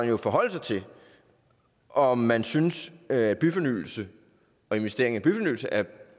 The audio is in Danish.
jo forholde sig til om man synes at byfornyelse og investering i byfornyelse er